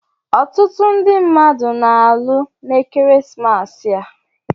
Ọtụtụ ndị mmadụ na-alụ n'ekeresimesi a.